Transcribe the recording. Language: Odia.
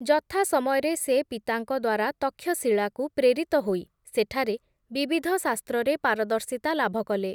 ଯଥାସମୟରେ ସେ ପିତାଙ୍କ ଦ୍ୱାରା ତକ୍ଷଶିଳାକୁ ପ୍ରେରିତ ହୋଇ ସେଠାରେ ବିବିଧ ଶାସ୍ତ୍ରରେ ପାରଦର୍ଶିତା ଲାଭକଲେ ।